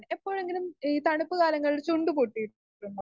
Speaker 2 എപ്പോഴെങ്കിലും ഈ തണുപ്പ് കാലങ്ങളിൽ ചുണ്ട് പോട്ടിയിട്ടുണ്ടോ?